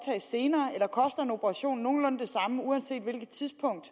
senere eller koster en operation nogenlunde det samme uanset hvilket tidspunkt